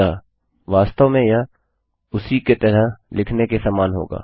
अतः वास्तव में यह उसी का तरह लिखने के ही समान होगा